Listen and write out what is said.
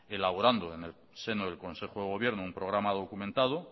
elaborando en el seno del consejo de gobierno un programa documentado